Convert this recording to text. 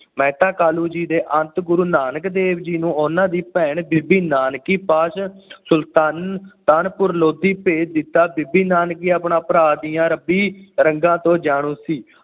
ਮਹਿਤਾ ਕਾਲੂ ਜੀ ਦੇ ਅੰਤ ਗੁਰੂ ਨਾਨਕ ਦੇਵ ਜੀ ਨੂੰ ਉਨ੍ਹਾਂ ਦੀ ਭੈਣ ਬੀਬੀ ਨਾਨਕੀ ਪਾਸ ਸੁਲਤਾਨ ਸੁਲਤਾਨਪੁਰ ਲੋਧੀ ਭੇਜ ਦਿੱਤਾ ਬੀਬੀ ਨਾਨਕੀ ਆਪਣਾ ਭਰਾ ਦੀਆਂ ਰੱਬੀ ਰੰਗਾਂ ਤੋਂ ਜਾਣੂ ਸੀ।